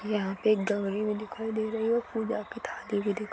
यहाँ पे गवरी भी दिखाई दे रही है और पूजा की थाली भी दिखाई--